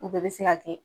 U bɛɛ bɛ se ka kɛ